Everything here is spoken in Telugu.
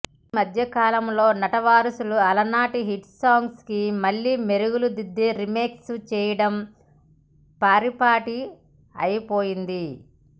ఈమధ్య కాలం లో నటవారసులు అలనాతి హిట్ సాంగ్స్ కి మళ్ళీ మెరుగులు దిద్ది రీమిక్స్ చేయటం పరిపాటి అయిపోయింది